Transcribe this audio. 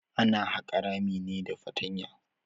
Ana haƙa rami ne da fatanya.